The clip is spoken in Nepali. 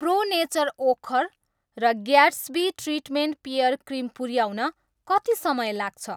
प्रो नेचर ओखर र ग्याट्स्बी ट्रिटमेन्ट पेयर क्रिम पुऱ्याउन कति समय लाग्छ?